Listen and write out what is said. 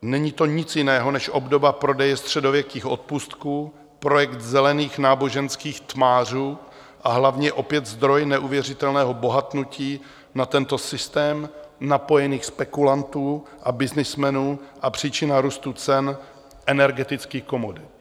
Není to nic jiného než obdoba prodeje středověkých odpustků, projekt zelených náboženských tmářů, a hlavně opět zdroj neuvěřitelného bohatnutí na tento systém napojených spekulantů a byznysmenů a příčina růstu cen energetických komodit.